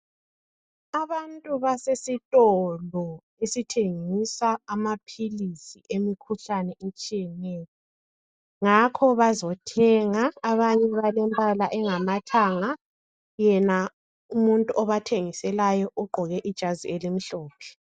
Abantu basesitolo esithengisa amaphilisi emkhuhlane etshiyeneyo ngakho bazothenga, abanye balembala engamathanga yena umuntu obathengiselayo ugqoke ijazi elimhlophe.